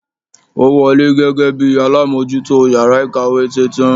Ó wọlé gẹ́gẹ́ bíi alámójútó yàrá ìkàwé titun